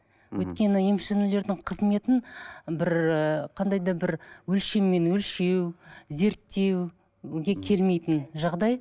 өйткені емшілердің қызметін бір ыыы қандай да бір өлшеммен өлшеу зерттеуге келмейтін жағдай